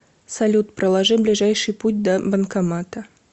салют проложи ближайший путь до банкомата